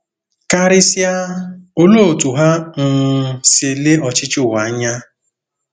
Karịsịa, olee otú ha um si ele ọchịchị ụwa anya?